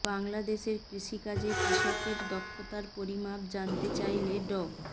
বাংলাদেশের কৃষি কাজে কৃষকের দক্ষতার পরিমাপ জানতে চাইলে ড